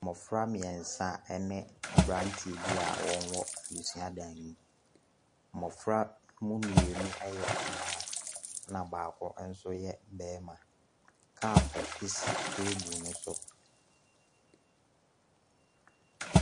Mmɔfra mmiensa ne abranteɛ bi a wɔwɔ suadan mu. Mmɔfra no mu mmienu yɛ mmaa. Ɛna baako nso yɛ barima. Kaapo si table no so.